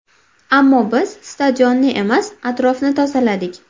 Ammo biz stadionni emas, atrofni tozaladik.